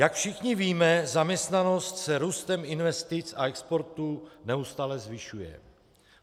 Jak všichni víme, zaměstnanost se růstem investic a exportu neustále zvyšuje.